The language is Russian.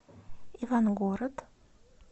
ивангород